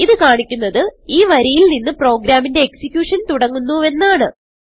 ഇത് കാണിക്കുന്നത് ഈ വരിയിൽ നിന്ന് പ്രോഗ്രാമിന്റെ എക്സിക്യൂഷൻ തുടങ്ങുന്നു എന്നാണ്